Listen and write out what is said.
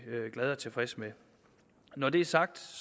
glad for og tilfreds med når det er sagt